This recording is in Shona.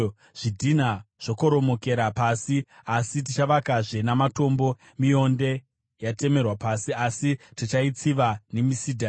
“Zvidhinha zvakoromokera pasi, asi tichavakazve namatombo; mionde yatemerwa pasi, asi tichaitsiva nemisidhari.”